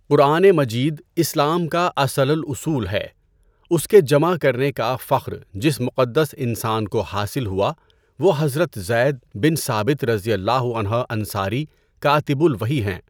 قرآن مجید اسلام کا اصل الاصول ہے، اس کے جمع کرنے کا فخر جس مقدس انسان کو حاصل ہوا وہ حضرت زید بن ثابت رضی اللہ عنہ انصاری کاتِبُ الْوَحْی ہیں۔